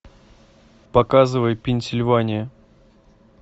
показывай пенсильвания